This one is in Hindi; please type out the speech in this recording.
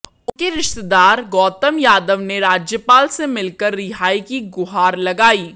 उनके रिश्तेदार गौतम यादव ने राज्यपाल से मिलकर रिहाई की गुहार लगाई